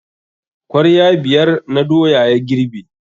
Kwarya biyar na doya ya girbe.